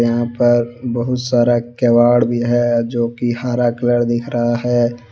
यहां पर बहुत सारा किवाड़ भी है जो कि हरा कलर दिख रहा है।